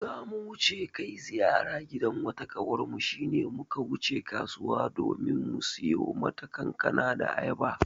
Za mu kai ziyara gidan wata ƙawarmu shi ne muka wuce kasuwa domin mu siyo mata kankana da ayaba.